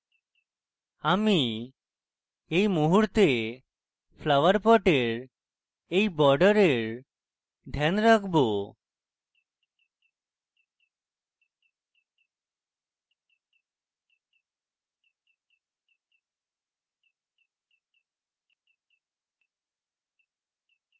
আমি এই মুহূর্তে flower পটের এই বর্ডারের ধ্যান রাখবো